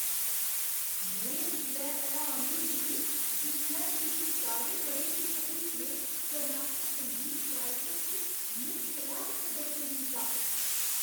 में उसलै हैरान होई गेई जिसलै मेरी सतारें ब'रें दी भतरीऽ ने कर्नाटक संगीत कार्यक्रम च नुक्स रैह्त प्रदर्शन कीता।